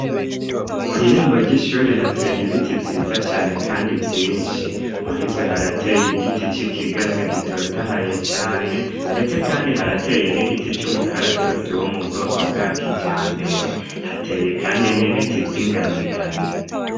Kw'irembo ry'ishuri hateye ibiti vyiza cane, kandi vyinshi muri vyo harateye igiti c'ikigazi gitotahaye cane, ndetse, kandi harateye n'igiti c'umukaratusi wo mu bwoko bwa kija mbere hateye, kandi n'ibiti vyoinganigani.